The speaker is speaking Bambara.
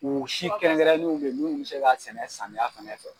U si kɛrɛnrɛnnenw bɛ yen minnu bi se ka sɛnɛ samiya fɛnɛ fɛ.